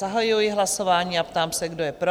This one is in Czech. Zahajuji hlasování a ptám se, kdo je pro?